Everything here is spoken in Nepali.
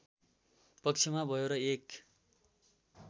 पक्षमा भयो र एक